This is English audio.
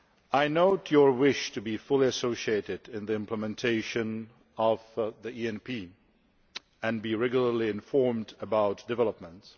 I note your wish to be fully associated in the implementation of the ENP and to be regularly informed about developments.